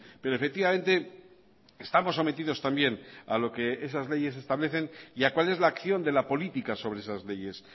pero efectivamente estamos sometidos también a lo que esas leyes establecen y a cuál es la acción de la política sobre esas leyes